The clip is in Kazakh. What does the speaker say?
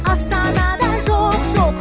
астанада жоқ жоқ